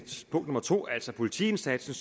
punkt nummer to altså politiindsatsen